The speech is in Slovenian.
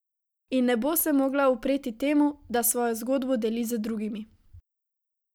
In ne bo se mogla upreti temu, da svojo zgodbo deli z drugimi.